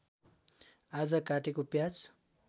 आज काटेको प्याज